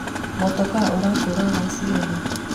mũtoka ũrakũra thaa cigana?